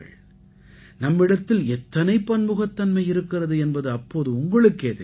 நம்மிடத்தில் எத்தனை பன்முகத்தன்மை இருக்கிறது என்பது அப்போது உங்களுக்கே தெரிய வரும்